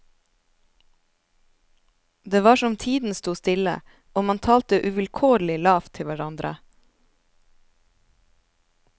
Det var som tiden sto stille, og man talte uvilkårlig lavt til hverandre.